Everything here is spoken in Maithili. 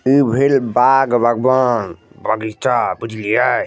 इ भएल बाग बगवान बगीचा बुझलिये।